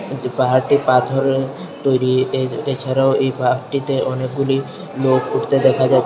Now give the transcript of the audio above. এই যে পাহাড়টি পাথরের তৈরি এই যে এছাড়াও এই পাহাড়টিতে অনেকগুলি লোক উঠতে দেখা যাচ্ছে।